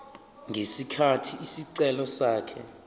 ngesikhathi isicelo sakhe